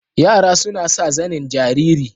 Yara suna sa zanen jariri.